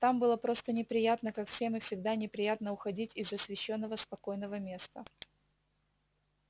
там было просто неприятно как всем и всегда неприятно уходить из освещённого спокойного места